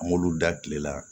An m'olu da kile la